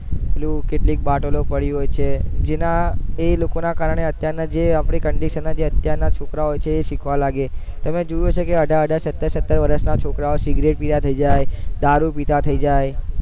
કેટલીક બાટલો પડી હોય છે જેના એ લોકો ના કારણે અત્યાર ના જે આપણી condition ના જે અત્યારે ના છોકરાઓ હોય છે એ શીખવા લાગે છે તમે જોયું હશે કે અઢાર અઢાર સતર સતર વર્ષ ના છોકરા ઓ સિગ્રેટપિતા થઇ જાય દારૂ પિતા થી જાય